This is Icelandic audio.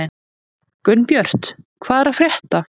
Gunnbjört, hvað er að frétta?